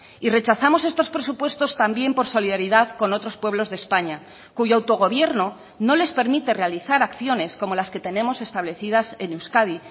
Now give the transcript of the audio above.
y rechazamos estos presupuestos también por solidaridad con otros pueblos de españa cuyo autogobierno no les permite realizar acciones como las que tenemos establecidas en euskadi